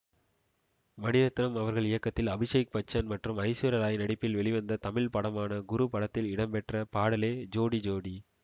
மணிரத்னம் அவர்கள் இயக்கத்தில் அபிஷேக் பச்சன் மற்றும் ஐஸ்வர்யா ராய் நடிப்பில் வெளிவந்த தமிழ் படமான குரு படத்தில் இடம்பெற்ற பாடலே ஜோடி ஜோடி